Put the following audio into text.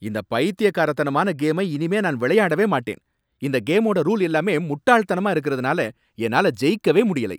இந்த பைத்தியக்காரத்தனமான கேமை இனிமே நான் விளையாடவே மாட்டேன். இந்த கேமோட ரூல் எல்லாமே முட்டாள்தனமா இருக்கறதுனாலதான், என்னால ஜெயிக்கவே முடியலை.